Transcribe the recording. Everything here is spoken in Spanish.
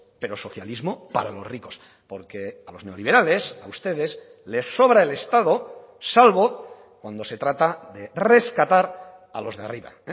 pero socialismo para los ricos porque a los neoliberales a ustedes les sobra el estado salvo cuando se trata de rescatar a los de arriba